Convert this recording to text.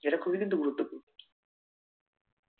যেটা খুবেই কিন্তু গুরুত্তপূর্ণ